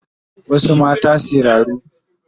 Wasu mata siraru